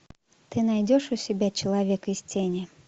ты найдешь у себя человек из тени